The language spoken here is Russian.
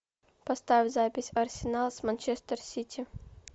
поставь запись арсенал с манчестер сити